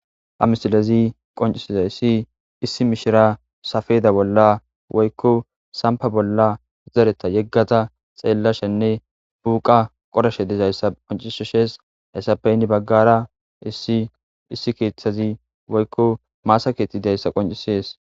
amisilezi qoncisizayssi issi mishira safeeda bolla woykko sampa bolla zareta yeggata xeellashenne buuqa qoreshe dizayssa qoncisoshees hassappe inni baggara isiissi keeththazi woykko maasa keethtidayssa qoncisees